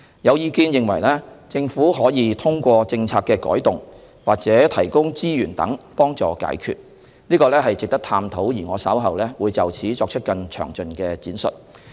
有意見認為，政府可以通過政策的修訂或提供資源等途徑解決問題，這值得探討，而我稍後會就此作出更詳盡闡述。